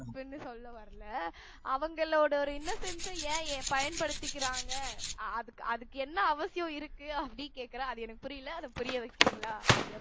அப்படி ஒன்னும் சொல்ல வரல அவங்களோட ஒரு innocents அ ஏன் பயன்படுத்திக்கிறாங்க அதுக்கு அதுக்கு என்ன அவசியம் இருக்கு அப்படின்னு கேட்கிறேன் அது எனக்கு புரியலை அத புரிய வைக்கிறீங்களா அப்படி